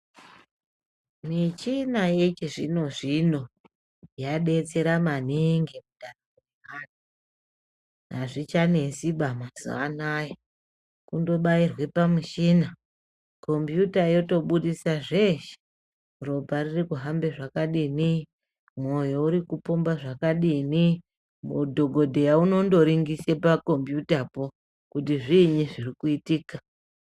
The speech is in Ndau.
Michina yechizvino-zvino yadetsera maningi andani, azvichanesiba mazuwaanaya kundobayirwe pamuchina, kombiyuta yotobudisa zvese, ropa riri kuhambe zvakadini, moyo uri kupomba zvakadini ,mudhokodheya unondoringise pakombiyutapo kuti zvinyi zviri kuyitika.